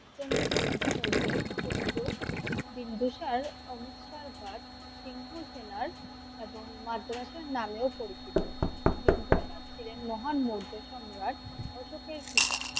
চন্দ্রগুপ্ত মৌর্যের পুত্র বিন্দুসার সিন্ধু সেনার এবং মাদ্রাসা নামে ও পরিচিত। বিন্দুসার ছিলেন মহান মৌর্য সম্রাট অশোকের পিতা